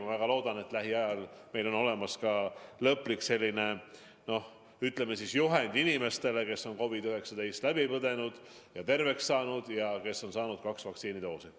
Ma väga loodan, et lähiajal on meil olemas selline lõplik, ütleme, juhend inimestele, kes on COVID-19 läbi põdenud ja terveks saanud või kes on saanud kaks vaktsiinidoosi.